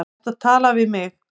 Ertu að tala við mig?